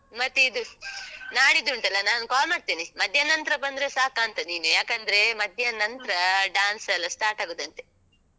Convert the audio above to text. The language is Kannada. ಮತ್ತೆ ಇದು, ನಾಡಿದ್ದುಂಟಲ್ಲ ನಾನು call ಮಾಡ್ತೇನೆ. ಮಧ್ಯಾಹ್ನ ನಂತ್ರ ಬಂದ್ರೂ ಸಾಕಾಂತ ನೀನು. ಯಾಕಂದ್ರೇ ಮಧ್ಯಾಹ್ನ ನಂತ್ರ dance ಎಲ್ಲ start ಆಗುದಂತೆ.